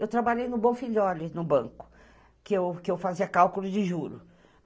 Eu trabalhei no Bonfigliore, no banco, que eu fazia cálculo de juros.